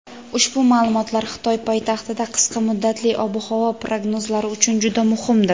ushbu ma’lumotlar Xitoy poytaxtida qisqa muddatli ob-havo prognozlari uchun juda muhimdir.